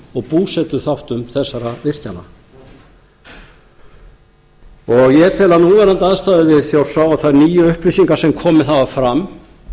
og búsetuþáttum þessara virkjana ég tel að núverandi aðstæður við þjórsá og þær nýju upplýsingar sem komið hafa fram